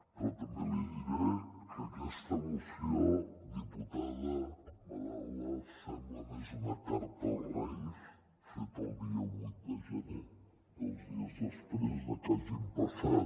però també li diré que aquesta moció diputada madaula sembla més una carta als reis feta el dia vuit de gener dos dies després de que hagin passat